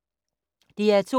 DR2